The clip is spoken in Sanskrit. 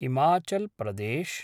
हिमाचल् प्रदेश्